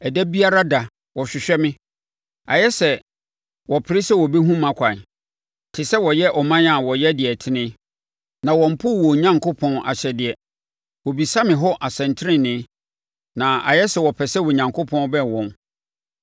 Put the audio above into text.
Ɛda biara da wɔhwehwɛ me; ayɛ sɛ wɔpere sɛ wɔbɛhunu mʼakwan, te sɛ wɔyɛ ɔman a wɔyɛ deɛ ɛtene na wɔmpoo wɔn Onyankopɔn ahyɛdeɛ. Wɔbisa me hɔ asɛntenenee na ayɛ sɛ wɔpɛ sɛ Onyankopɔn bɛn wɔn.